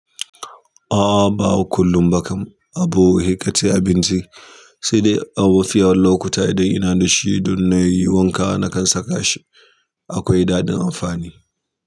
A'a, ba kullum ba kam, abu sai kace abinci, sai dai a mafi yawan lokuta idan ina da shi idan na yi wanka na kan saka shi akwai daɗin amfani.